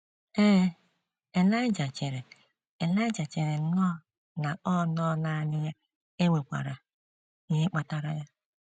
Ee, Elaịja chere Elaịja chere nnọọ na ọ nọ nanị ya e nwekwara ihe kpatara ya.